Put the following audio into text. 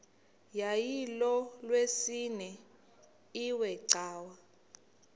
yayilolwesine iwe cawa